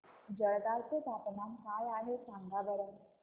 जळगाव चे तापमान काय आहे सांगा बरं